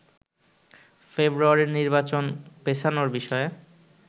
ফেব্রুয়ারির নির্বাচন পেছানোর বিষয়ে